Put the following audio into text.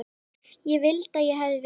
Ég vildi að ég hefði verið með